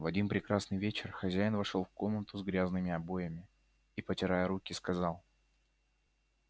в один прекрасный вечер хозяин вошёл в комнату с грязными обоями и потирая руки сказал